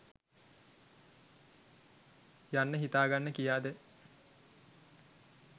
යන්න හිතාගන්න කියාද?